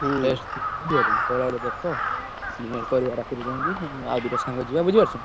ହୁଁ ବୁଝିପାରୁଛ ନା ସେଇଭାଲିଆ ଗୋଟେ ଦେଖ dinner କରିବା ରାତି ରେ ଯାଇଁକି ଆଉ ଦି ଟା ସାଙ୍ଗ ଯିବା ବୁଝିପାରୁଛ ନା।